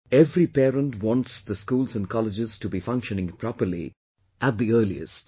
Every parent wants the schools and colleges to be functioning properly at the earliest